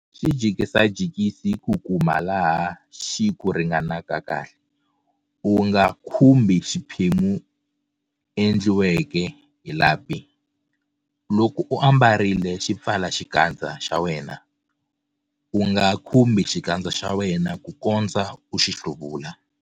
Xi jikajikisi ku kuma laha xi ku ringanaka kahle. U nga khumbhi xiphemu endliweke hi lapi. Loko u ambarile xipfalaxikandza xa wena, U NGA KHUMBHI XIKANDZA XA WENA ku kondza u xi hluvula.